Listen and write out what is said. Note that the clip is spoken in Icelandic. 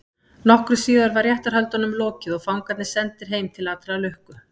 Nokkru síðar var réttarhöldunum lokið og fangarnir sendir heim til allrar lukku.